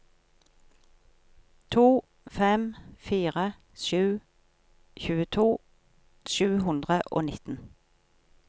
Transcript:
to fem fire sju tjueto sju hundre og nitten